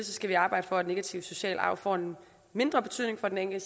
skal vi arbejde for at negativ social arv får en mindre betydning